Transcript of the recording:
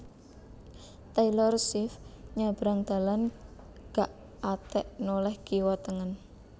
Taylor Swift nyabrang dalan gak atek noleh kiwa tengen